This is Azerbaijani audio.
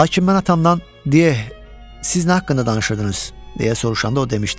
Lakin mən atamdan, “Di, siz nə haqqında danışırdınız?” deyə soruşanda o demişdi: